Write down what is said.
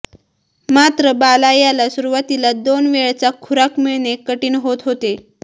मात्र बाला याला सुरुवातीला दोन वेळचा खुराक मिळणे कठीण होत होते